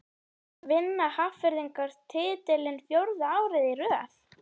Vinna Hafnfirðingar titilinn fjórða árið í röð?